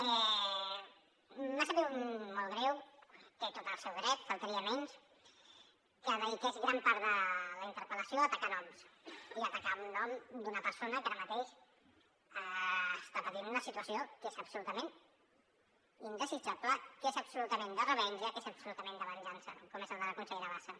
m’ha sabut molt greu hi té tot el seu dret només faltaria que dediqués gran part de la interpel·lació a atacar noms i a atacar un nom d’una persona que ara mateix està patint una situació que és absolutament indesitjable que és absolutament de revenja que és absolutament de venjança com és el de la consellera bassa